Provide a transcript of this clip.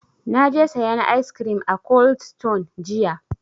Na je sayan ice cream a cold stone jiya.